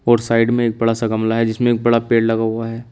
और साइड में एक बड़ा सा गमला है जिसमें एक बड़ा पेड़ लगा हुआ है।